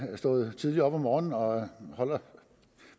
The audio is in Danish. stået tidligt op om morgenen og